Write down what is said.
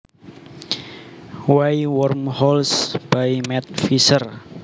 Why wormholes by Matt Visser